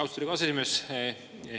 Austatud aseesimees!